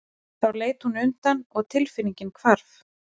Þá leit hún undan og tilfinningin hvarf.